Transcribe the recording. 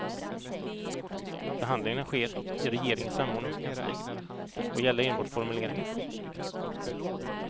Förhandlingarna sker i regeringens samordningskansli och gäller enbart formuleringar.